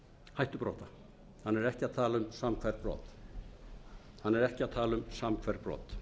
hann er ekki að tala um samhverf brot